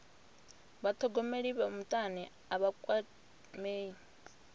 vhathogomeli vha mutani a vha kwamei